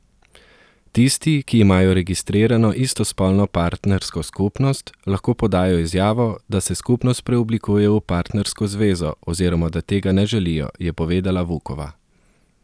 Tisti, ki imajo registrirano istospolno partnersko skupnost, lahko podajo izjavo, da se skupnost preoblikuje v partnersko zvezo, oziroma da tega ne želijo, je povedala Vukova.